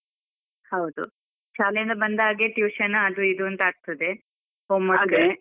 ಹೌದು, ಶಾಲೆ ಇಂದ ಬಂದ ಹಾಗೆ tuition ಅದು ಇದು ಅಂತಾಗ್ತಾದೆ .